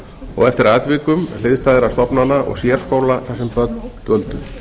og eftir atvikum hliðstæðra stofnana og sérskóla þar sem börn dvöldu